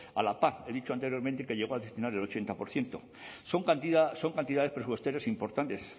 a la pac he dicho anteriormente que llegó a destinar el ochenta por ciento son cantidades presupuestarias importantes